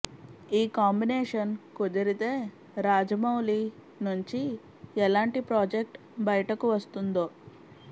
ఈ కాంబినేషన్ కుదిరితే రాజవౌళి నుంచి ఎలాంటి ప్రాజెక్టు బయటకు వస్తుందో